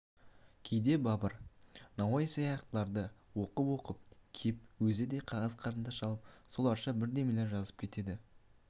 кейде бабыр науаи сияқтыларды оқып-оқып кеп өзі де қағаз қарындаш алып соларша бірдемелер жазып кетеді